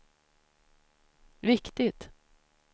viktigt